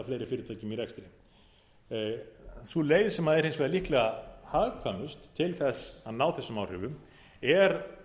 sú leið sem er hins vegar líklega hagkvæmust til þess að ná þessum áhrifum er